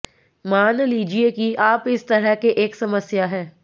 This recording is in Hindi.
मान लीजिए कि आप इस तरह के एक समस्या है